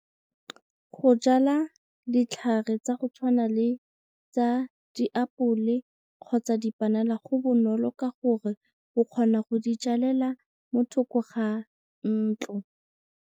Go jala ditlhare tsa go tshwana le tsa diapole kgotsa dipanana go bonolo ka gore o kgona go di jalela mo thoko ga ntlo.